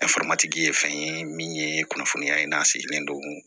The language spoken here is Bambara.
ye fɛn ye min ye kunnafoniya ye n'a sigilen don